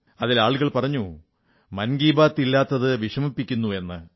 അതിൽ ആളുകൾ പറഞ്ഞു മൻ കീ ബാത്ത് ഇല്ലാത്തത് വിഷമിപ്പിക്കുന്നു എന്ന്